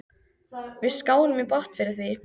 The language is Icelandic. Við skálum í botn fyrir því.